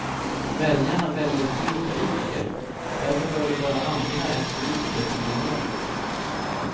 Väljarna väljer fel politiker, därför bör det vara andra än politiker som regerar.